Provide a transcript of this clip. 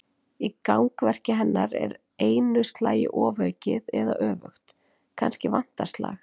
Í gangverki hennar er einu slagi ofaukið eða öfugt: kannski vantar slag.